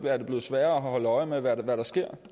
er det blevet sværere at holde øje med hvad der sker